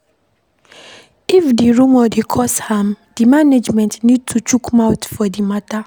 If di rumour dey cause harm, di management need to chook mouth for di matter